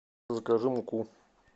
закажи муку